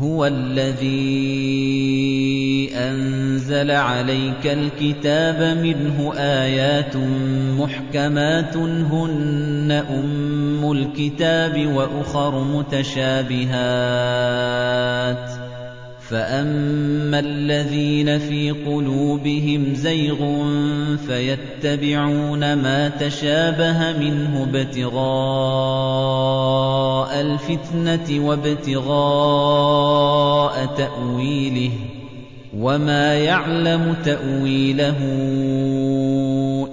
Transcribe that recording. هُوَ الَّذِي أَنزَلَ عَلَيْكَ الْكِتَابَ مِنْهُ آيَاتٌ مُّحْكَمَاتٌ هُنَّ أُمُّ الْكِتَابِ وَأُخَرُ مُتَشَابِهَاتٌ ۖ فَأَمَّا الَّذِينَ فِي قُلُوبِهِمْ زَيْغٌ فَيَتَّبِعُونَ مَا تَشَابَهَ مِنْهُ ابْتِغَاءَ الْفِتْنَةِ وَابْتِغَاءَ تَأْوِيلِهِ ۗ وَمَا يَعْلَمُ تَأْوِيلَهُ